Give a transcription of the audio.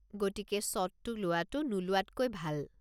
গতিকে শ্বটটো লোৱাটো নোলোৱাতকৈ ভাল।